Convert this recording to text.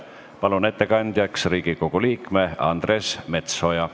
Palun ettekandjaks Riigikogu liikme Andres Metsoja.